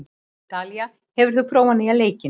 Dalía, hefur þú prófað nýja leikinn?